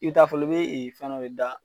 I bi taa folo ne fɛn dɔ de da